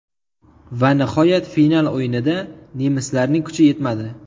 Va nihoyat final o‘yinida nemislarning kuchi yetmadi.